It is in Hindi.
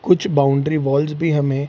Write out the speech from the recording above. कुछ बाउंड्री वॉल्स भी हमें --